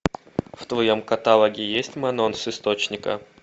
в твоем каталоге есть анонс источника